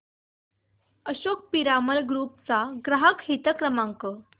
Ashok Piramal group चा ग्राहक हित क्रमांक